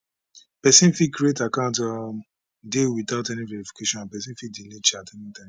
pesin fit create account um dey witout any verification and pesin fit delete chats anytime